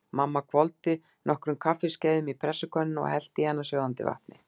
Mamma hvolfdi nokkrum kaffiskeiðum í pressukönnuna og hellti í hana sjóðandi vatni.